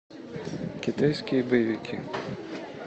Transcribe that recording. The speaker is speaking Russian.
китайские боевики